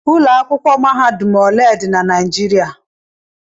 Ụlọ akwụkwọ mahadum ole dị na Naijiriia?